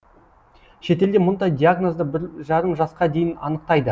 шетелде мұндай диагнозды бір жарым жасқа дейін анықтайды